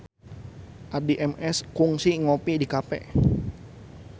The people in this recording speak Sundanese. Addie MS kungsi ngopi di cafe